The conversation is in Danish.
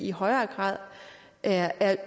i højere grad er